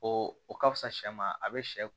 O o ka fusa shɛ ma a bɛ sɛ